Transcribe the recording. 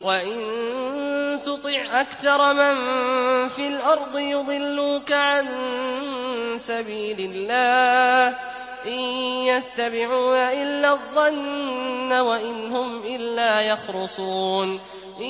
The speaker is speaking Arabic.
وَإِن تُطِعْ أَكْثَرَ مَن فِي الْأَرْضِ يُضِلُّوكَ عَن سَبِيلِ اللَّهِ ۚ إِن يَتَّبِعُونَ إِلَّا الظَّنَّ وَإِنْ هُمْ إِلَّا يَخْرُصُونَ